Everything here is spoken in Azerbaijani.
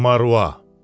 Marua.